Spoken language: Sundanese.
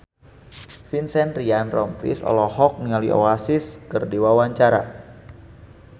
Vincent Ryan Rompies olohok ningali Oasis keur diwawancara